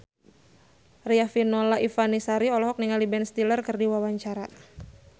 Riafinola Ifani Sari olohok ningali Ben Stiller keur diwawancara